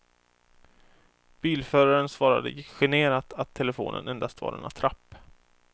Bilföraren svarade generat att telefonen endast var en attrapp.